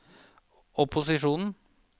opposisjonen